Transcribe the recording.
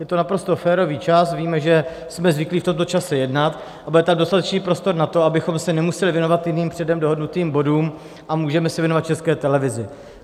Je to naprosto férový čas, víme, že jsme zvyklí v tomto čase jednat, a bude tam dostatečný prostor na to, abychom se nemuseli věnovat jenom předem dohodnutým bodům, a můžeme se věnovat České televizi.